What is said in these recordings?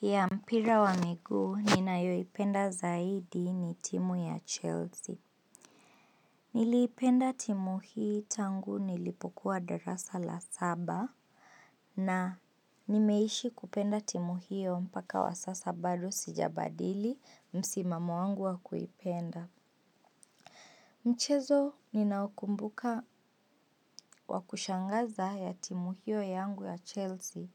Ya mpira wa miguu ninayoipenda zaidi ni timu ya Chelsea. Niliipenda timu hii tangu nilipokuwa darasa la saba. Na, nimeishi kupenda timu hiyo mpaka wa sasa bado sijabadili msimamo wangu wa kuipenda. Mchezo ninaokumbuka wa kushangaza ya timu hiyo yangu ya Chelsea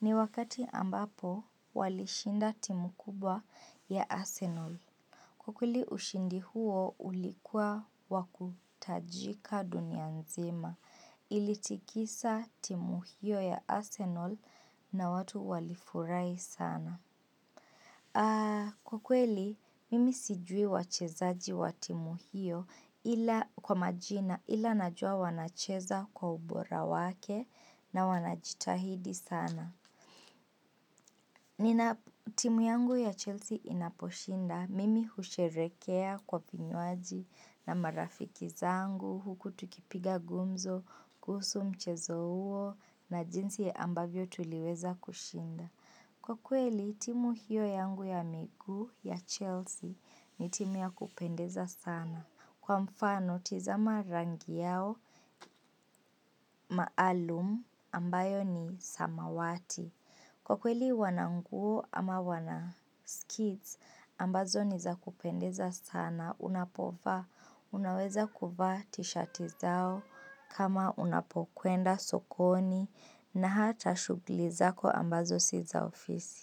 Ni wakati ambapo walishinda timu kubwa ya Arsenal. Ukweli ushindi huo ulikua wa kutajika dunia nzima ilitikisa timu hiyo ya Arsenal na watu walifurahi sana. Kwa kweli, mimi sijui wachezaji wa timu hiyo ila kwa majina ila najua wanacheza kwa ubora wake na wanajitahidi sana. Nina timu yangu ya Chelsea inaposhinda, mimi husherehekea kwa kinywaji na marafiki zangu huku tukipiga gumzo kuhusu mchezo huo na jinsi ambavyo tuliweza kushinda. Kwa kweli timu hiyo yangu ya miguu ya Chelsea ni timu ya kupendeza sana. Kwa mfano tizama rangi yao maalum ambayo ni samawati. Kwa kweli wana nguo ama wana skits ambazo ni za kupendeza sana. Unapovaa, unaweza kuvaa tishati zao kama unapokwenda sokoni na hata shughuli zako ambazo si za ofisi.